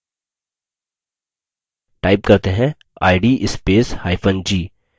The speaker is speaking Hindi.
type करते हैं id spacehyphen g